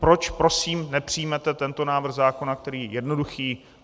Proč prosím nepřijmete tento návrh zákona, který je jednoduchý?